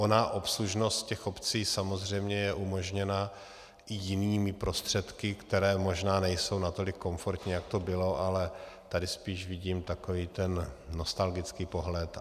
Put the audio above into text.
Ona obslužnost těch obcí samozřejmě je umožněna i jinými prostředky, které možná nejsou natolik komfortní, jak to bylo, ale tady spíš vidím takový ten nostalgický pohled.